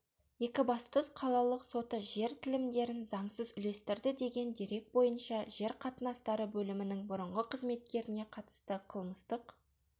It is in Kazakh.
екібастұз қалалық соты жер телімдерін заңсыз үлестірді деген дерекбойынша жер қатынастары бөлімінің бұрынғы қызметкеріне қатысты қылмыстық